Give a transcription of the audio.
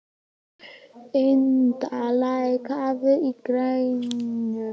Ynda, lækkaðu í græjunum.